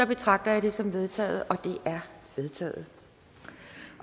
betragter jeg det som vedtaget det er vedtaget